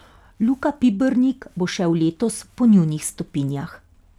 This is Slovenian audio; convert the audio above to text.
Luka Pibernik bo šel letos po njunih stopinjah.